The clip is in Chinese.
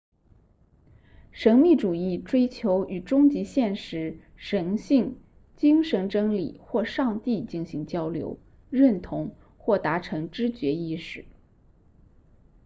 神秘主义追求与终极现实神性精神真理或上帝进行交流认同或达成知觉意识